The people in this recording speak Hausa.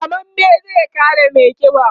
rammamme zai kada maiƙiba?